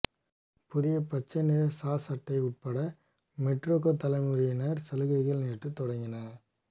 புதிய பச்சை நிற சாஸ் அட்டை உட்பட மெர்டேக்கா தலைமுறையினர் சலுகைகள் நேற்று தொடங்கின